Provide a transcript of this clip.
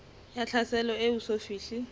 ya tlhaselo e eso fihle